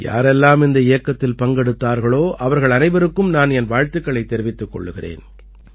யாரெல்லாம் இந்த இயக்கத்தில் பங்கெடுத்தார்களோ அவர்கள் அனைவருக்கும் நான் என் வாழ்த்துக்களைத் தெரிவித்துக் கொள்கிறேன்